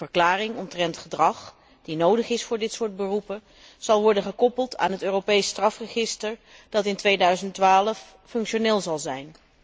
Een verklaring omtrent gedrag, die nodig is voor dit soort beroepen, zal worden gekoppeld aan het Europees strafregister, dat in 2012 functioneel zal zijn.